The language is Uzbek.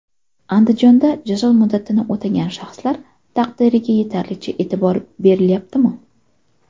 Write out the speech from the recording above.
Andijonda jazo muddatini o‘tagan shaxslar taqdiriga yetarlicha e’tibor berilyaptimi?.